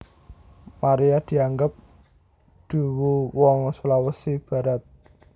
Maria dianggep duwu wong Sulawesi Barat